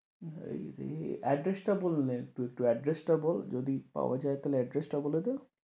হায়রে address টা বলে নে একটু একটু address টা বল যদি পাওয়া যায় তাহলে address টাও বলে দে।